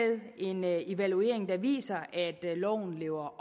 en evaluering der viser at loven lever